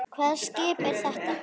Hvaða skip er þetta?